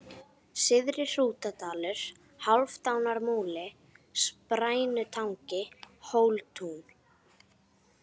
Syðri-Hrútadalur, Hálfdánarmúli, Sprænutangi, Hóltún